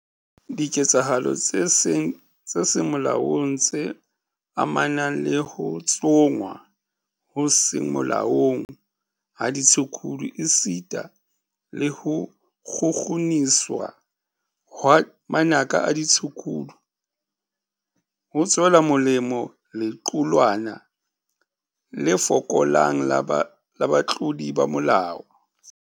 Diketsahalo tse seng molaong tse amanang le ho tsongwa ho seng molaong ha ditshukudu esita le ho kgukguniswa hwa manaka a ditshukudu, ho tswela molemo lequlwana le fokolang la batlodi ba molao.